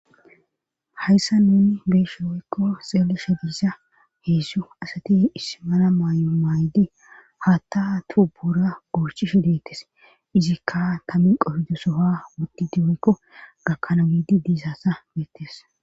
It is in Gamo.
Hayssa nuni beeshe woykko xeelesha diissa heedsu asati ismana maay'o maaydi haatta tuu buura borchishe deettes izikka tammin qofido soha wutdi diinko gakkana giidi diisassa beettes.